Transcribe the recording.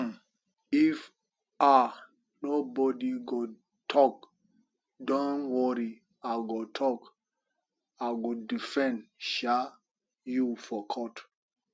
um if um nobody go talk dont worry i go talk and i go defend um you for court